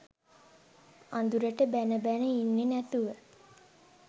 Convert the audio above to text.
අඳුරට බැන බැන ඉන්නෙ නැතුව